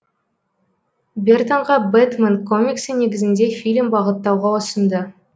бертонға бэтмен комиксі негізінде фильм бағыттауға ұсынды